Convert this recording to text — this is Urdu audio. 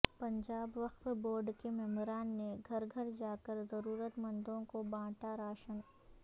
پنجاب وقف بورڈ کے ممبران نے گھر گھر جا کر ضرورت مندوں کو بانٹا راشن